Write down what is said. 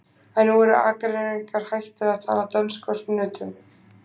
En nú eru Akureyringar hættir að tala dönsku á sunnudögum.